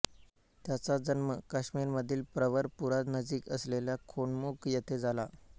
त्याचा जन्म काश्मीरमधील प्रवरपुरानजीक असलेल्या खोनमुख येथे झाला